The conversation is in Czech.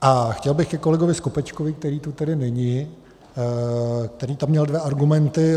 A chtěl bych ke kolegovi Skopečkovi, který tu tedy není, který tam měl dva argumenty.